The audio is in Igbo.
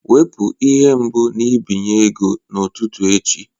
Wepu ihe mbụ nbinye ego n'ụtụtụ echi!